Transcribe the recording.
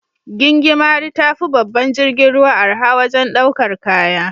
Gingimari tafi babban jirgin ruwa arha wajen daukar kaya.